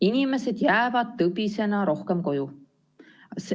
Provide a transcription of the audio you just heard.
Inimesed jäävad tõbisena rohkem koju.